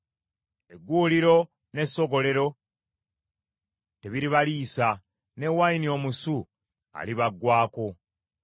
Egguuliro n’essogolero tebiribaliisa, ne wayini omusu alibaggwaako.